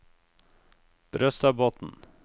Brøstadbotn